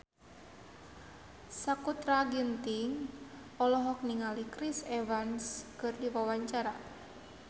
Sakutra Ginting olohok ningali Chris Evans keur diwawancara